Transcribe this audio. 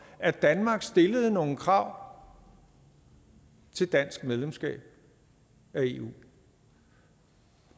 at danmark stillede nogle krav til dansk medlemskab af eu